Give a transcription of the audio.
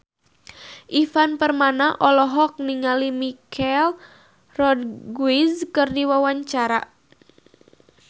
Ivan Permana olohok ningali Michelle Rodriguez keur diwawancara